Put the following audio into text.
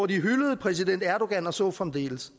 de hyldede præsident erdogan og så fremdeles